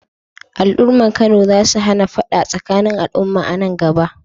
Al’ummar Kano za su hana fada tsakanin al’umma a nan gaba.